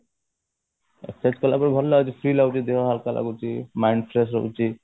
exercise କଲା ପରେ ଭଲ ଲାଗୁଛି ଦେହ ହାଲକା ଲାଗୁଛି mind fresh ରହୁଛି